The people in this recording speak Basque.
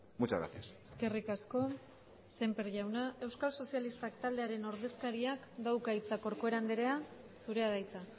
muchas gracias eskerrik asko sémper jauna euskal sozialistak taldearen ordezkariak dauka hitza corcuera andrea zurea da hitza